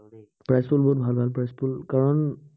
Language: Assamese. prize pool বহুত ভাল ভাল prize pool কাৰন